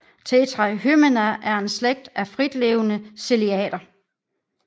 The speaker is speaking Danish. Tetrahymena er en slægt af fritlevende ciliater